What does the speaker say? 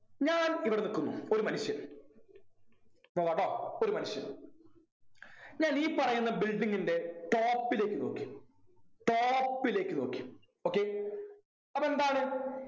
ഞാൻ ഇവിടെ നിക്കുന്നു ഒരു മനുഷ്യൻ നോക്കാട്ടോ ഒരു മനുഷ്യൻ ഞാൻ ഈ പറയുന്ന building ൻ്റെ top ലേക്ക് നോക്കി top ലേക്ക് നോക്കി okay അപ്പൊ എന്താണ്